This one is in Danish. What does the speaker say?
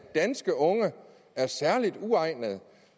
danske unge er særlig uegnede